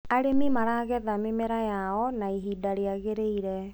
arĩmi maragetha mĩmera yao na ihinda riagiriire